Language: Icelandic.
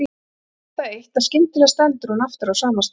Hún veit það eitt að skyndilega stendur hún aftur á sama stað.